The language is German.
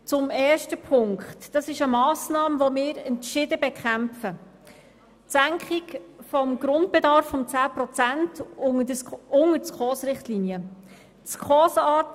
Zum ersten Punkt: Es handelt sich um eine Massnahme, die wir entschieden bekämpfen, nämlich die Senkung des Grundbedarfs um 10 Prozent unter die Richtlinien der Schweizerischen Konferenz für Sozialhilfe (SKOS).